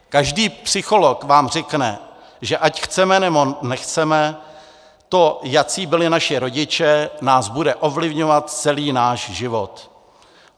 Každý psycholog vám řekne, že ať chceme, nebo nechceme, to, jací byli naši rodiče, nás bude ovlivňovat celý náš život.